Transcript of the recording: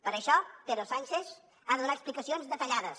per això pedro sánchez ha de donar explicacions detallades